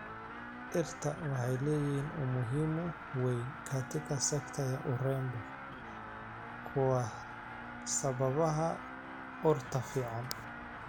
Dhirta waxay leeyihiin umuhimu weyn katika sekta ya urembo kwa sababaha urta fiican.